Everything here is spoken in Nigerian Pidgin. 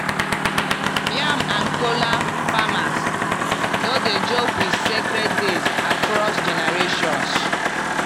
yam and kola farmers no dey joke with sacred days across generations.